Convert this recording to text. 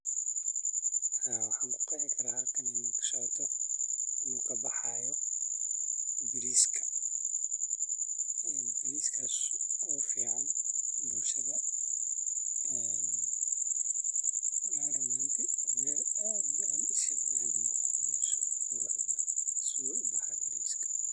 Haa waxaan kuqehi karaa halakan in kasocoto inuu kabaxayo bariiska, bariskaas oo ufican bulshada walahi run ahaanti meel aad iyo aad ishi biniadamku kuqawa meeshu quruxda sidhuu ubaxayo bariiska.